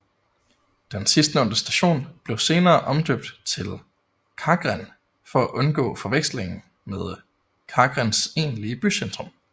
Den sidstnævnte station blev senere omdøbt til Kagran for at undgå forveksling med Kagrans egentlige bycentrum